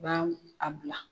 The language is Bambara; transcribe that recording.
U baɛ u, a bila,